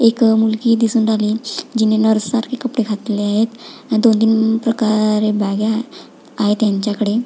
एक मुलगी दिसून राहिली जिने नर्स सारखे कपडे घातले आहेत आणि दोन तीन प्रकारे बॅगा आहेत त्यांच्याकडे--